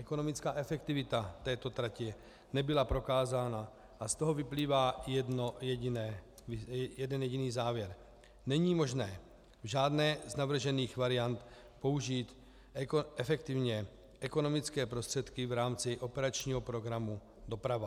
Ekonomická efektivita této tratě nebyla prokázána a z toho vyplývá jeden jediný závěr: Není možné v žádné z navržených variant použít efektivně ekonomické prostředky v rámci operačního programu Doprava.